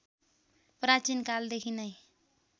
प्राचीन कालदेखि नै